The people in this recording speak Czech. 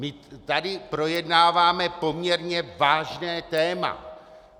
My tady projednáváme poměrně vážné téma.